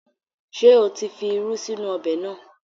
Ṣé o tí fi irú sínú ọbẹ̀ náà?